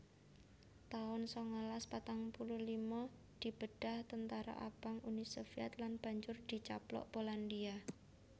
taun sangalas patang puluh lima Dibedhah Tentara Abang Uni Sovyèt lan banjur dicaplok Polandia